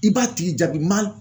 I b'a tigi jabi ma